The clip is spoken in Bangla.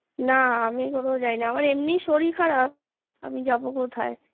না আমি কোথায় যায়নি আমার এমনি শরীর খারাপ আমি যাবো কোথায়